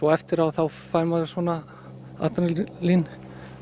eftir á fær maður svona